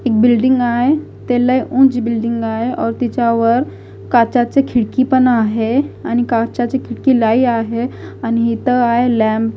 एक बिल्डिंग आहे ते लई उंच बिल्डिंग आहे और तिच्यावर काचेची खिडकी पण आहे आणि काचेची खिडकी लई आहे आणि इथं आहे लॅम्प .